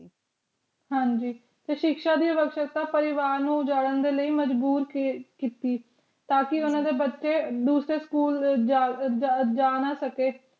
ਹਾਂਜੀ ਤੇ ਸਿਖਯ ਦੀ ਦਾ ਲੈ ਮਜਬੂਰ ਕੀਤੀ ਟਾਕੀ ਬਚੇ ਦੋਸ੍ਰਾਯ ਸਕੂਲ ਜਾ ਨਾ ਸਕੀ